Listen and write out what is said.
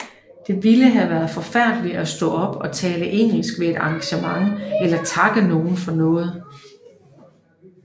Det ville have været forfærdeligt at stå op og tale engelsk ved et engagement eller takke nogen for noget